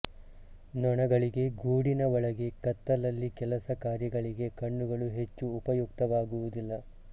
ನೊಣಗಳಿಗೆ ಗೂಡಿನ ಒಳಗೆ ಕತ್ತಲಲ್ಲಿ ಕೆಲಸ ಕಾರ್ಯಗಳಿಗೆ ಕಣ್ಣುಗಳು ಹೆಚ್ಚು ಉಪಯುಕ್ತವಾಗುವುದಿಲ್ಲ